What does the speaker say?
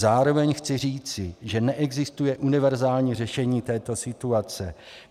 Zároveň chci říci, že neexistuje univerzální řešení této situace.